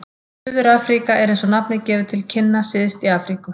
Suður-Afríka er, eins og nafnið gefur til kynna, syðst í Afríku.